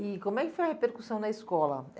E como é que foi a repercussão na escola?